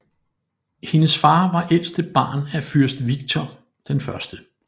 Hendes far var ældste barn af fyrst Viktor 1